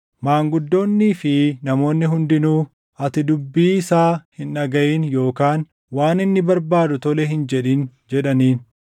Maanguddoonnii fi namoonni hundinuu, “Ati dubbii isaa hin dhagaʼin yookaan waan inni barbaadu tole hin jedhin” jedhaniin.